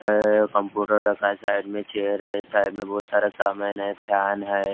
अ computer रखा हैं side में चेयर हैं साइड में बहुत सारा सामान हैं फैन हैं।